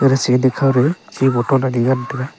chi boton ani ngan tega.